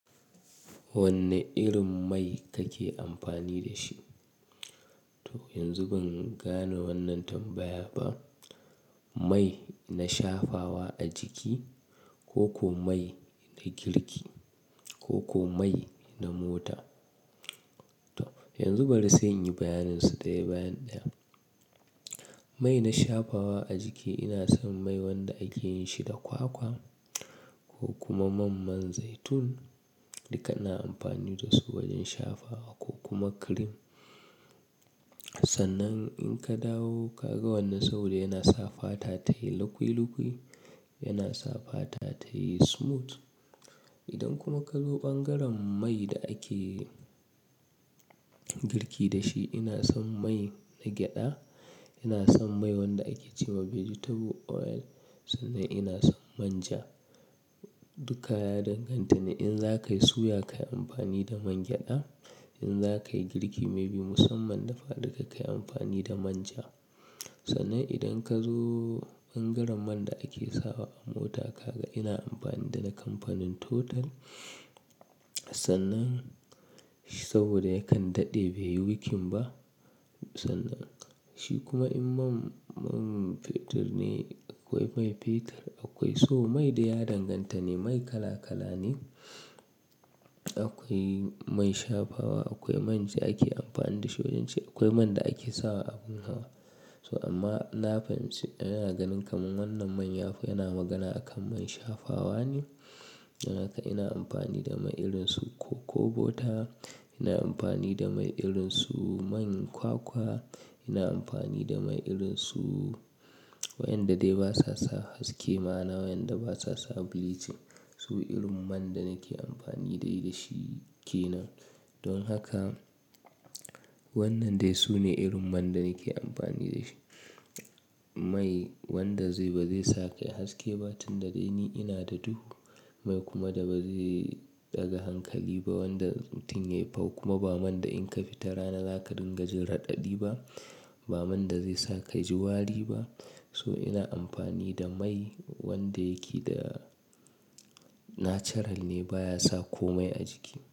Wanne irin mai kake amfani da shi? To yanzu ban gane wannan tambaya ba. Mai na shafawa a jiki koko mai na girki koko mai na mota? To yanzu bari sai in yi bayanin su ɗaya bayaniɗaya. Mai na shafawa a jiki ina son mai wanda ake yin shi da kwakwa ko kuma mamman zaitun duka ina amfani da su wajen shafawa ko kuma cream. Sannan in ka dawo ka ga wannan saboda yana sa fata tayi lukui-lukui, yana sa fata tayi smooth. Idan kuma ka zo ɓangaren mai da ake girki da shi, ina son mai na gyaɗa, ina son mai wanda ake ce wa vegetable oil sannan ina son manja. Dukka ya danganta ne in za ka yi suya ka yi amfani da man gyaɗa. In za ka yi girki maybe musamman dafa duka ka yi amfani da manja. Sannan idan ka zo ɓangaren man da ake sawa a mota, ka ga ina amfani da na kamfanin Total. Sannan saboda yakan daɗe bai yi wikin ba. Sannan shi kuma in man man fetur ne akwai mai fetur akwai. So mai dai ya danganta ne mai kala kala ne. Akwai mai shafawa, akwai man da ake amfani da shi wajen ci, akwai man da ake sawa abin hawa. So amma na fahimci ina ganin kamar wannan man yafi yana magana a kan man shafawa ne. Don haka ina amfani da mai irin su cocobota, ina amfani da mai irin su man kwakwa, ina amfani da mai irin su wayanda dai ba sa sa haske ma na wayanda ba sa sa bleaching. Su irin man da nake amfani dai da shi ke nan. Don haka wannan dai su ne irin man da nake amfani da shi. Mai wanda zai ba zai sake haske ba tun da dai ni ina da duhu. Mai kuma da ba zai ɗaga hankali ba wanda tun ya yi fau kuma ba man da in ka fita rana za ka dinga jin raɗaɗi ba, ba man da zai sa ka ji wari ba. So ina amfani da mai wanda yake da natural ne baya sa komai a jiki.